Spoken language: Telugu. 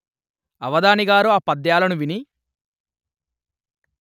అవధానిగారు ఆ పద్యాలను విని